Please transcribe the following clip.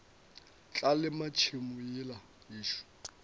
tla lema tšhemo yela yešo